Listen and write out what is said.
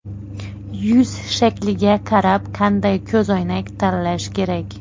Yuz shakliga qarab qanday ko‘zoynak tanlash kerak?.